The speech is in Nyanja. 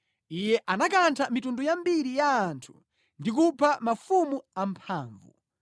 Iye anakantha mitundu yambiri ya anthu ndi kupha mafumu amphamvu: